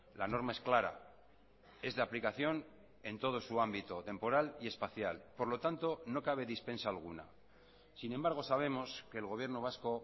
la norma es clara es de aplicación en todo su ámbito temporal y espacial por lo tanto no cabe dispensa alguna sin embargo sabemos que el gobierno vasco